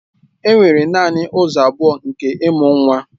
Enwere naanị ụzọ abụọ nke ịmụ nwa